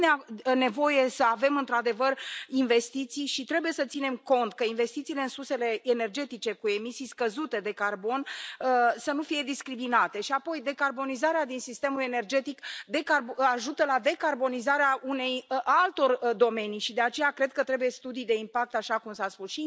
Este nevoie să avem, într adevăr, investiții și trebuie să ținem cont ca investițiile în sursele energetice cu emisii scăzute de carbon să nu fie discriminate și, apoi, decarbonizarea din sistemul energetic ajută la decarbonizarea altor domenii și, de aceea, cred că trebuie studii de impact, așa cum s a spus.